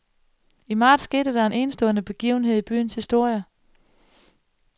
I marts skete der en enestående begivenhed i byens historie.